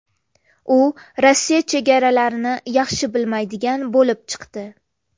U Rossiya chegaralarini yaxshi bilmaydigan bo‘lib chiqdi.